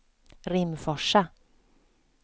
Rimforsa